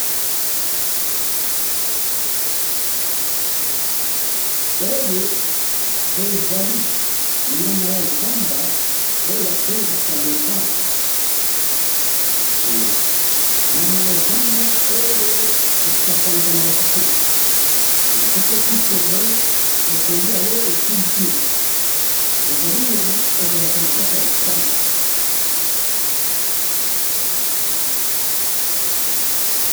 oyo ezali nyama ya zamba oyo ba bengaka leopard nyama humm ya zamba oyo esakanaka te soki otiye tembe ekoliya yo esilisi yo ezali nyama ezalaka na zamba.